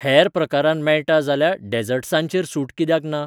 हेर प्रकारांत मेळटा जाल्यार डेजर्टसांचेर सूट कित्याक ना?